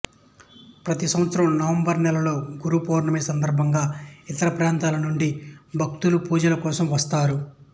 ప్రతి సంవత్సరం నవంబరు నెలలో గురు పూర్ణిమ సందర్భంగా ఇతర ప్రాంతాల నుండి భక్తులు పూజ కోసం వస్తారు